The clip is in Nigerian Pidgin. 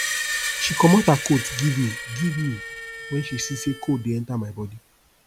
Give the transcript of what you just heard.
she comot her coat give me give me wen she see sey cold dey enta my bodi